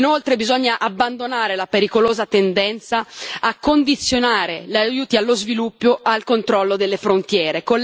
Inoltre bisogna abbandonare la pericolosa tendenza a condizionare gli aiuti allo sviluppo al controllo delle frontiere.